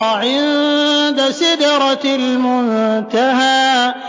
عِندَ سِدْرَةِ الْمُنتَهَىٰ